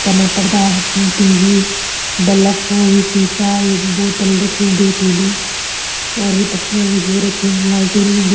तना पर्दा हटन टी.वी बल्लब उ सीसा ये बोतल रखीं दुई तीन और यु पछयाँ यु रख्युं लालटेन --